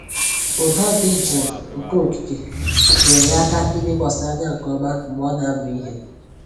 Ụda dị jụụ nke okike nyeere ya aka ilekwasị anya nke ọma mgbe ọ na-amụ ihe